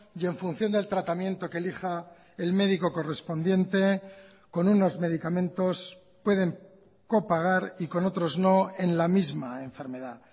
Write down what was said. y en función del tratamiento que elija el médico correspondiente con unos medicamentos pueden copagar y con otros no en la misma enfermedad